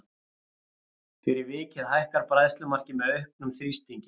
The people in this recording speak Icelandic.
Fyrir vikið hækkar bræðslumarkið með auknum þrýstingi.